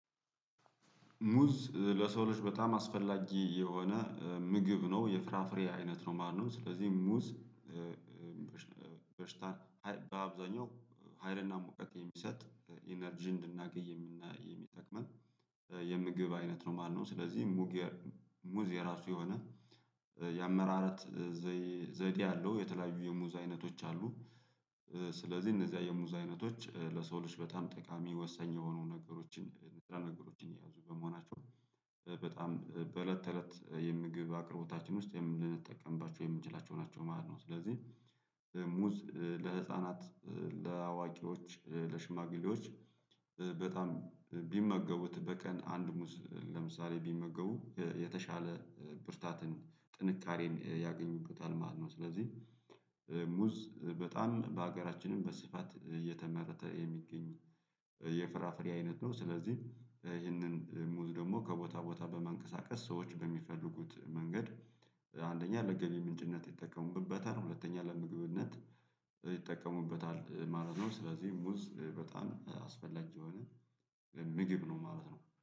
ሙዝ ለሰው ልጅ በጣም አስፈላጊ የሆነ ምግብ ነው የፍራፍሬ አይነት ነው ማለት ነው። ስለዚህ ሙዝ በሽታ በአብዛኛው ሀይልና ሙቀቅ የሚሰጥ ኢነርጂ እንድናገኝ የሚጠቅመን የምግብ አይነት ነው ማለት ነው። ስለዚህ ሙግ ሙዝ የራሱ የሆነ የአመራረት ዘይ ዘይቤ አለው የተለያዩ የሙዝ አይነቶች አሉ። ስለዚህ እነዚህ የሙዝ አይነቶች ለሰው ልጅ በጣም ጠቃሚ ወሳኝ የሆኑ ነገሮችን ንጥረ ነገሮችን የያዙ በመሆናቸው በጣም በእለት ተእለት የምግብ አቅርቦታችን ውስጥ የምንጠቀምባቸው የምንችላቸው ናቸው ማለት ነው። ስለዚህ ሙዝ ለህፃናት ለአዋቂዎች ለሽማግሌዎች በጣም ቢመገቡት በቀን አንድ ሙዝ ለምሳሌ ቢመገቡ የተሻለ ብርታትን ጥንካሬም ያገኙበታል ማለት ነው። ስለዚህ ሙዝ በጣም በሀገራችንም በስፋት እየተመረተ የሚገኝ የፍራፍሬ አይነት ነው። ስለዚህም ይህንን ሙዝ ደግሞ ከቦታ ቦታ በማንቀሳቀስ ሰዎች በሚፈልጉት መንገድ አንደኛ ለገቢ ምንጭነት ይጠቀሙበታል ሁለተኛ ለምግብነት ይጠቀሙበታል ማለት ነው። ስለዚህ ሙዝ በጣም አስፈላጊ የሆነ ምግብ ነው ማለት ነው